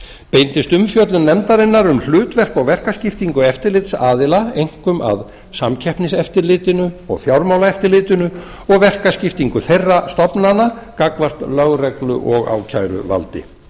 beindist umfjöllun nefndarinnar um hlutverk og verkaskiptingu eftirlitsaðila einkum að samkeppniseftirlitinu og fjármálaeftirlitinu og verkaskiptingu þeirra stofnana gagnvart lögreglu og ákæruvaldi